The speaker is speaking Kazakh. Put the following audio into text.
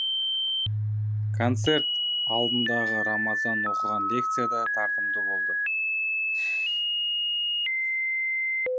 концерт алдындағы рамазан оқыған лекция да тартымды болды